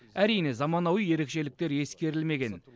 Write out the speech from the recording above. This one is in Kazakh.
әрине заманауи ерекшеліктер ескерілмеген